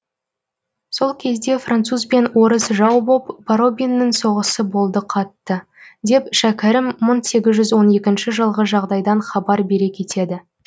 сол кезде французбен орыс жау боп боробиннің соғысы болды қатты деп шәкәрім мың сегіз жүз он екінші жылғы жағдайдан хабар бере кетеді